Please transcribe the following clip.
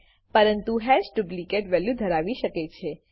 પરંતુ hash duplicate value ધરાવી શકે છે